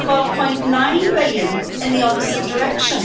12.9 billion in the opposite direction.